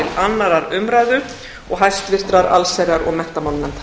annarrar umræðu og hæstvirtrar allsherjar og menntamálanefndar